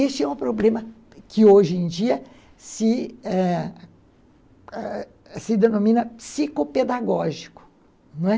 Este é um problema que hoje em é, dia se ãh a denomina psicopedagógico, não é?